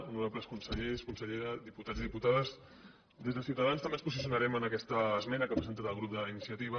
honorables consellers consellera diputats i diputades des de ciutadans també ens posicionarem en aquesta esmena que ha presentat el grup d’iniciativa